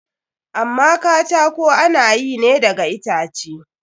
Amma katako ana yi ne daga itace.